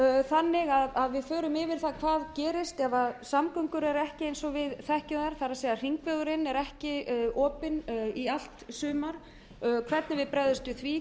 þannig að við förum yfir það hvað gerist ef samgöngur eru ekki eins og við þekkjum þær það er þegar hringvegurinn er ekki opinn í allt sumar hvernig við bregðumst við því